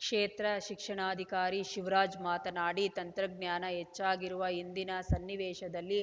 ಕ್ಷೇತ್ರ ಶಿಕ್ಷಣಾಧಿಕಾರಿ ಶಿವರಾಜ್‌ ಮಾತನಾಡಿ ತಂತ್ರಜ್ಞಾನ ಹೆಚ್ಚಾಗಿರುವ ಇಂದಿನ ಸನ್ನಿವೇಶದಲ್ಲಿ